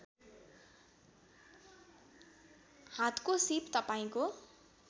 हातको सीप तपाईँको